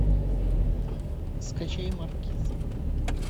скачай маркиз